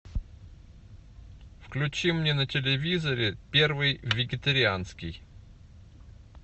включи мне на телевизоре первый вегетарианский